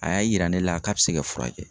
A y'a yira ne la k'a be se ka furakɛ.